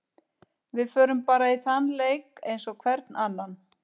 Við förum bara í þann leik eins og hvern annan.